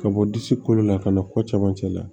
Ka bɔ disi kolo la ka na ko caman cɛ la